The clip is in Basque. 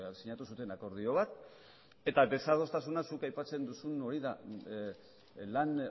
sinatu zuten akordio bat eta desadostasuna zuk aipatzen duzun hori da lan